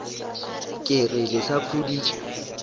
ke re le sa khuditše